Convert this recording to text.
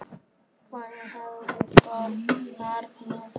Hvenær hefurðu störf þarna?